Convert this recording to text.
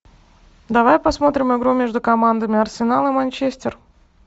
давай посмотрим игру между командами арсенал и манчестер